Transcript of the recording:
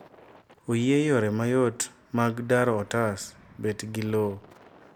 oyie yore mayot mag daro otas bet gi lowo